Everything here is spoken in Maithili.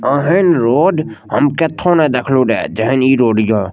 अहेन रोड हम केथू न देखलु रे जेहून इ रोड हीए।